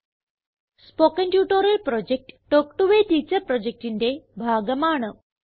spoken tutorial project talk to a teacher പ്രൊജക്റ്റിന്റെ ഭാഗമാണ്